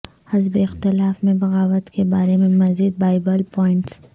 حزب اختلاف میں بغاوت کے بارے میں مزید بائبل پوائنٹس